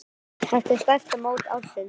Þetta er stærsta mót ársins.